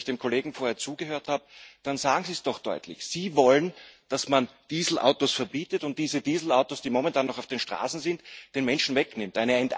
Wenn ich dem Kollegen vorher zugehört habe, dann sagen Sie es doch deutlich Sie wollen, dass man Dieselautos verbietet und diese Dieselautos, die momentan noch auf den Straßen sind, den Menschen wegnimmt.